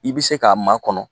I bɛ se k'a makɔnɔ